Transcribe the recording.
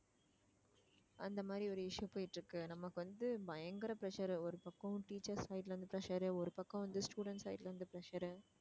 அந்த மாதிரி ஒரு issue போயிட்டு இருக்கு நமக்கு வந்து பயங்கர pressure ஒரு பக்கம் teachers side ல இருந்து pressure உ ஒரு பக்கம் வந்து student side ல இருந்து pressure உ